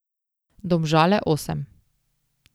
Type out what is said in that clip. Domžale osem.